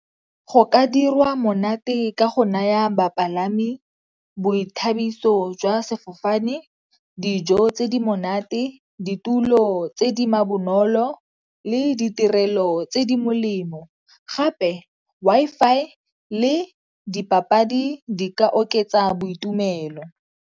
Go ka dirwa monate ka go naya bapalami boithabiso jwa sefofane, dijo tse di monate, ditulo tse di ma bonolo le ditirelo tse di molemo. Gape Wi-Fi le dipapadi di ka oketsa boitumelo.